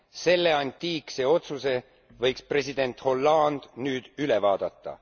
Selle antiikse otsuse võiks president Hollande nüüd üle vaadata.